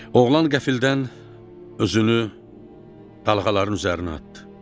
Oğlan qəfildən özünü dalğaların üzərinə atdı.